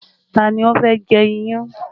Ta ni ó fẹ́ jẹ iyán?